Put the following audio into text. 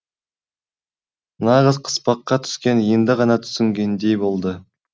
нағыз қыспаққа түскенін енді ғана түсінгендей болды